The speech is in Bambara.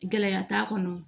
Gɛlɛya t'a kɔnɔ